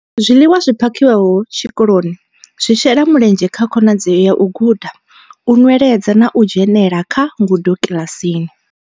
Zwiḽiwa zwi phakhiwaho tshikoloni zwi shela mulenzhe kha khonadzeo ya u guda, u nweledza na u dzhenela kha ngudo kiḽasini.